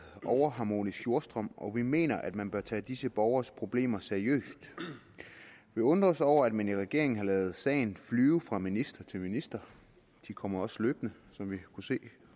overharmonisk jordstrøm og vi mener at man bør tage disse borgeres problemer seriøst vi undrer os over at man i regeringen har ladet sagen flyve fra minister til minister de kommer også løbende som vi kunne se